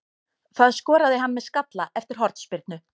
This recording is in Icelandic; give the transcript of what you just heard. Það skoraði hann með skalla eftir hornspyrnu.